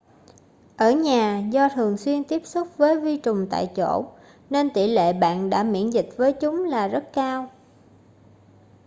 ở nhà do thường xuyên tiếp xúc với vi trùng tại chỗ nên tỷ lệ bạn đã miễn dịch với chúng là rất cao